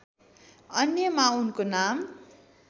अन्यमा उनको नाम